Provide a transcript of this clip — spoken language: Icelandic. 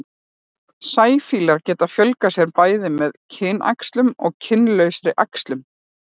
sæfíflar geta fjölgað sér bæði með kynæxlun og kynlausri æxlun